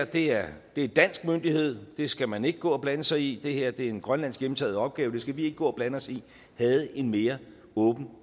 det her er dansk myndighed og at det skal man ikke gå og blande sig i og at det her er en grønlandsk hjemtaget opgave det skal vi ikke gå og blande os i havde en mere åben